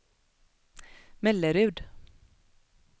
Mellerud